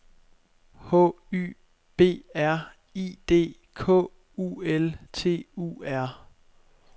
H Y B R I D K U L T U R